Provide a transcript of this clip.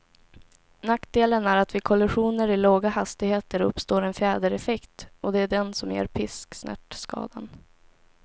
Nackdelen är att vid kollisioner i låga hastigheter uppstår en fjädereffekt, och det är den som ger pisksnärtskadan.